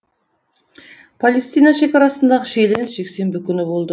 палестина шекарасындағы шиеленіс жексенбі күні болды